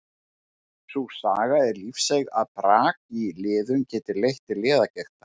Sú saga er lífseiga að brak í liðum geti leitt til liðagigtar.